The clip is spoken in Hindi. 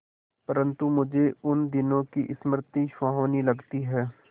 परंतु मुझे उन दिनों की स्मृति सुहावनी लगती है